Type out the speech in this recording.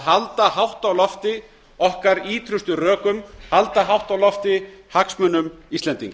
halda hátt á lofti okkar ýtrustu rökum halda hátt á lofti hagsmunum íslendinga